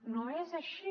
no és així